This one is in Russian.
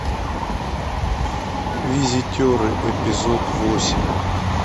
визитеры эпизод восемь